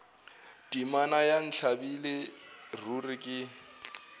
temana ya ntlabile ruri ke